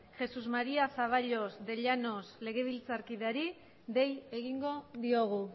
jesús maría zaballos de llanos legebiltzarkideari dei egingo diogu